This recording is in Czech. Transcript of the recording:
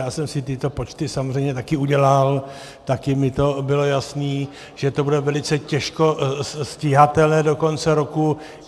Já jsem si tyto počty samozřejmě také udělal, také mi to bylo jasné, že to bude velice těžko stíhatelné do konce roku.